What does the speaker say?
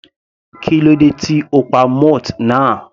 Kílódé tí o pa moth náà?.